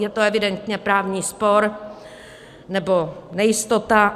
Je to evidentně právní spor, nebo nejistota.